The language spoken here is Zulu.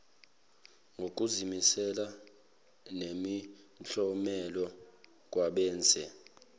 ngokuzimisela nemiklomelo kwabenze